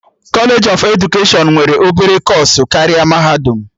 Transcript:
Kọlej of edukeshọn nwere obere kọọsụ karịa mahadum